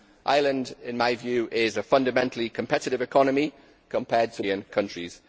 Ireland in my view is a fundamentally competitive economy compared to many other European countries.